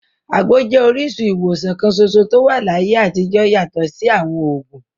Àgbo jẹ́ orísun ìwòsàn kan ṣoṣo tó wà láyé àtijọ́ yàtọ̀ sí àwọn òògùn.